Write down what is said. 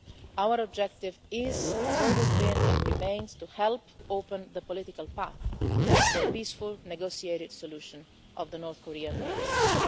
Our objective is, has always been and remains, to help open the political path for a peaceful, negotiated solution of North Korean denuclearisation.